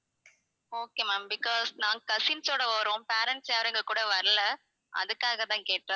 okay ma'am because நாங்க cousins ஓட வர்றோம் parents யாரும் எங்க கூட வரல அதுக்காக தான் கேட்டோம்